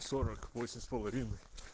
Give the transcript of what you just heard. сорок восемь с половиной